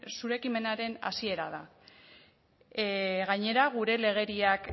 zure ekimenaren hasiera da gainera gure legeriak